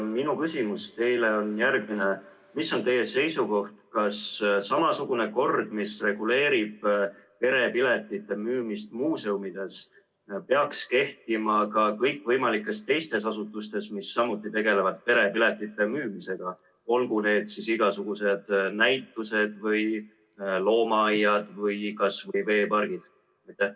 Minu küsimus teile on järgmine: milline on teie seisukoht, kas samasugune kord, mis reguleerib perepiletite müümist muuseumides, peaks kehtima ka kõikvõimalikes teistes asutustes, mis samuti tegelevad perepiletite müümisega, olgu need siis igasugused näitused või loomaaiad või kasvõi veepargid?